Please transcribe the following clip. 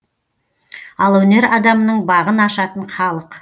ал өнер адамының бағын ашатын халық